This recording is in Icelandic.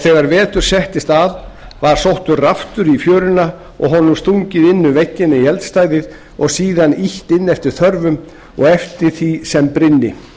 þegar vetur settist að var sóttur raftur í fjöruna og honum stungið inn um vegginn í eldstæðið og síðan ýtt inn eftir þörfum og eftir því sem brynni